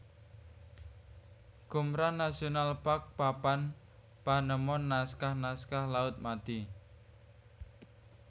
Qumran National Park Papan panemon Naskah naskah Laut Mati